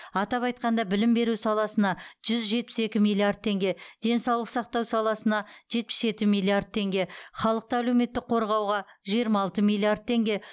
атап айтқанда білім беру саласына жүз жетпіс екі миллиард теңге денсаулық сақтау саласына жетпіс жеті миллиард теңге халықты әлеуметтік қорғауға жиырма алты миллиард теңге